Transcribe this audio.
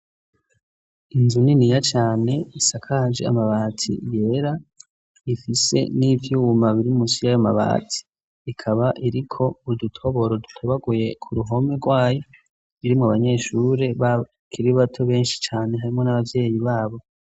Inzu niniya cyane isakaje amabati yera ifise n'ivyuma biri munsi y'aya mabati ikaba iriko udutoboro dutobaguye ku ruhome rwayi biri mu banyeshuri bakiri bato benshi cane harimwo n'ababyeyi babo.